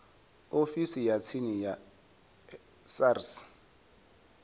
ofisini ya tsini ya sars